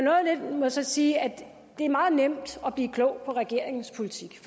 må så sige at det er meget nemt at blive klog på regeringens politik